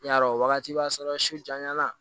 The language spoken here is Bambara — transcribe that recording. I y'a dɔn wagati b'a sɔrɔ su janyani